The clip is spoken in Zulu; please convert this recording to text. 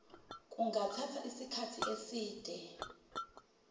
kungathatha isikhathi eside